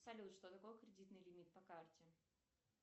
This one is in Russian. салют что такое кредитный лимит по карте